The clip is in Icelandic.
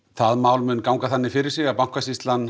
það mál mun ganga þannig fyrir sig að Bankasýslan